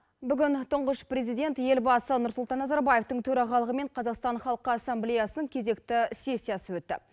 бүгін тұнғыш президент елбасы нұрсұлтан назарбаевтың төрағалығымен қазақстан халыққа ассамблеясының кезекті сессиясы өтті